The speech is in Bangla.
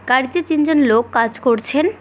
গাড়িতে তিনজন লোক কাজ করছেন।